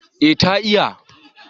eh ta iya